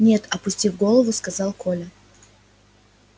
нет опустив голову сказал коля